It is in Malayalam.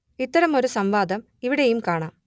ഇത്തരം ഒരു സംവാദം ഇവിടെയും കാണാം